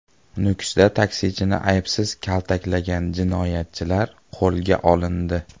Nukusda taksichini ayovsiz kaltaklagan jinoyatchilar qo‘lga olindi.